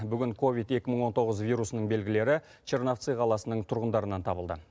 бүгін ковид екі мың он тоғыз вирусының белгілері черновцы қаласының тұрғындарынан табылды